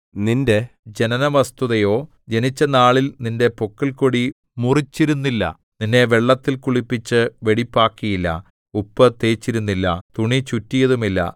നിന്റെ ജനനവസ്തുതയോ ജനിച്ചനാളിൽ നിന്റെ പൊക്കിൾക്കൊടി മുറിച്ചിരുന്നില്ല നിന്നെ വെള്ളത്തിൽ കുളിപ്പിച്ച് വെടിപ്പാക്കിയില്ല ഉപ്പ് തേച്ചിരുന്നില്ല തുണി ചുറ്റിയതുമില്ല